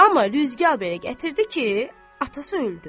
Amma rüzgar belə gətirdi ki, atası öldü.